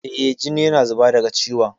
Eh, jini yana zuba daga ciwon.